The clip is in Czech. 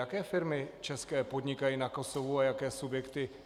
Jaké firmy české podnikají na Kosovu a jaké subjekty?